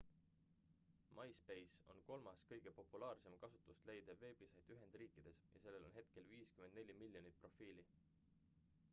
myspace on kolmas kõige populaarsem kasutust leidev veebisait ühendriikides ja sellel on hetkel 54 miljonit profiili